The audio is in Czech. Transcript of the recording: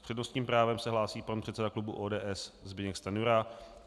S přednostním právem se hlásí pan předseda klubu ODS Zbyněk Stanjura.